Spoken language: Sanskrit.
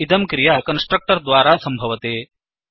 इयं क्रिया कन्स्ट्रक्टर् द्वारा सम्भवति